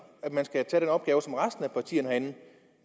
at man skal påtage sig den opgave som resten af partierne herinde